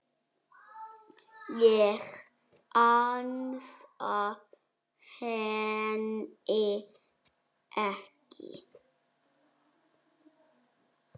Ég ansa henni ekki.